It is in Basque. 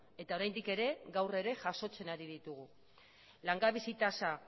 eta oraindik ere gaur ere jasotzen ari ditugu langabezi tasa